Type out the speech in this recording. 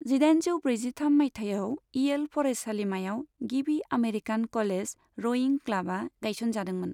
जिदाइजौ ब्रैजिथाम मायथाइयाव, इयेल फरायसालिमायाव गिबि आमेरिकान क'लेज रयिं क्लाबा गायसनजादोंमोन।